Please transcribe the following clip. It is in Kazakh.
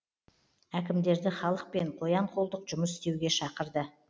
әкімдерді халықпен қоян қолтық жұмыс істеуге шақырды